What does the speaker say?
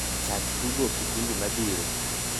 chak tugo kipindi mabiro